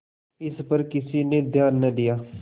इस पर किसी ने ध्यान न दिया